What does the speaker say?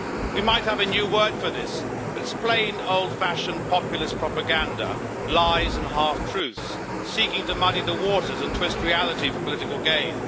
We might have a new word for this but it is plain, old fashioned, populist propaganda, lies and half truths, seeking to muddy the waters and twist reality for political gain.